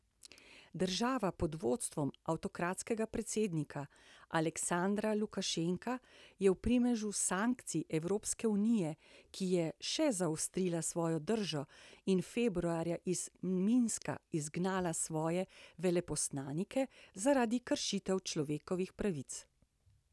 Država pod vodstvom avtokratskega predsednika Aleksandra Lukašenka je v primežu sankcij Evropske unije, ki je še zaostrila svojo držo in februarja iz Minska izgnala svoje veleposlanike zaradi kršitev človekovih pravic.